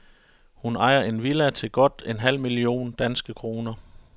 Hun ejer en villa til godt en halv million danske kroner.